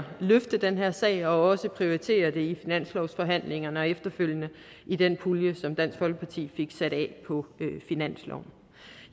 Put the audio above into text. løfte den her sag og også prioritere den i finanslovsforhandlingerne og efterfølgende i den pulje som dansk folkeparti fik sat af på finansloven